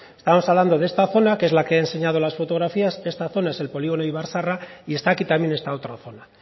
estamos hablando de esta zona que es la que he enseñado las fotografías esta zona es el polígo no ibar zaharra y está aquí también esta otra zona